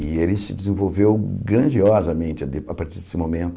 E ele se desenvolveu grandiosamente ali a partir desse momento.